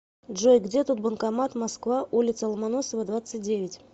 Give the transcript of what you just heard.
джой где тут банкомат москва улица ломоносова двадцать девять